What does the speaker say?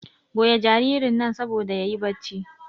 goya jaririn nan saboda yayi bacci